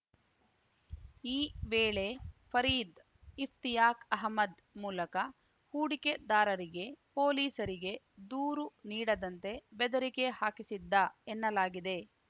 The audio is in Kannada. ಈ ವೇಳೆ ಫರೀದ್‌ ಇಫ್ತಿಯಾಕ್‌ ಅಹಮದ್‌ ಮೂಲಕ ಹೂಡಿಕೆದಾರರಿಗೆ ಪೊಲೀಸರಿಗೆ ದೂರು ನೀಡದಂತೆ ಬೆದರಿಕೆ ಹಾಕಿಸಿದ್ದ ಎನ್ನಲಾಗಿದೆ